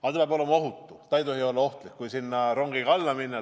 Aga see peab olema ohutu, see ei tohi olla ohtlik, kui sinna rongiga sisse sõita.